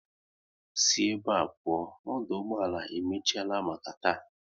Si ebe a pụọ, ọdụ ụgbọala e emechiela maka taa